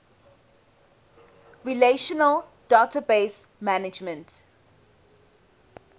relational database management